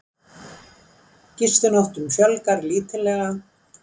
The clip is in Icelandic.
Gistinóttum fjölgar lítillega